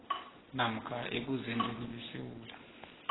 namkha ebuzendeni besewula